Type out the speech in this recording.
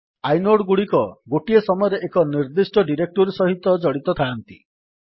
inode ଗୁଡିକ ଗୋଟିଏ ସମୟରେ ଏକ ନିର୍ଦ୍ଦିଷ୍ଟ ଡିରେକ୍ଟୋରୀ ସହିତ ଜଡିତ ଥାଆନ୍ତି